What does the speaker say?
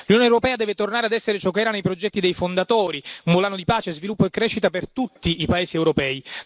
L'Unione europea deve tornare ad essere ciò che era nei progetti dei fondatori, volano di pace, sviluppo e crescita per tutti i paesi europei.